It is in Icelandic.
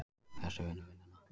Þessi vinnur vinnuna!